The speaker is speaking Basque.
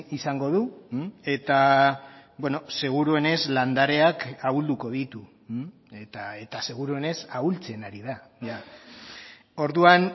izango du eta seguruenez landareak ahulduko ditu eta seguruenez ahultzen ari da orduan